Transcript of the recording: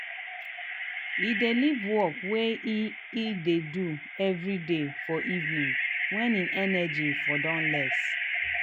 he dey leave work wey he he dey do evriday for evening wen him energy for don less.